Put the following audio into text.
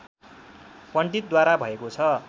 पण्डितद्वारा भएको छ